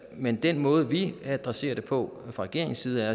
men den måde vi adresserer det på fra regeringens side er